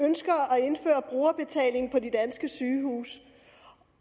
og brugerbetaling på de danske sygehuse